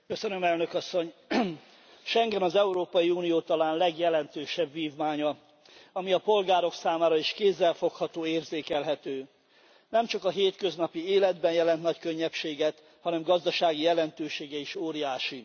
Elnök Asszony, Schengen az Európai Unió talán legjelentősebb vívmánya, ami a polgárok számára is kézzelfogható, érzékelhető. Nem csak a hétköznapi életben jelent nagy könnyebbséget, hanem gazdasági jelentősége is óriási.